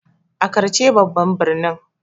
Accra ce babban birnin.